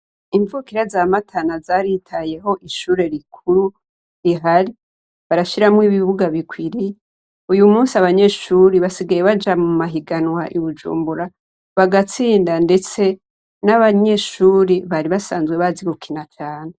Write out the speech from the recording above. Imvukira za Matana zaritayeho ishure rikuru rihari barashiramwo ibibuga bikwiriye, uyu musi abanyeshuri basigaye baja mu mahiganwa i Bujumbura bagatsinda, ndetse n'abanyeshuri bari basanzwe bazi gukina cane.